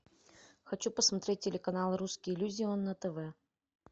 хочу посмотреть телеканал русский иллюзион на тв